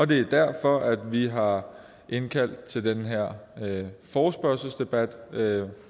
det er derfor at vi har indkaldt til den her forespørgselsdebat